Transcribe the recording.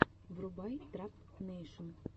врубай трап нэйшн